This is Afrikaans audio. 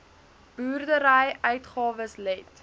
boerdery uitgawes let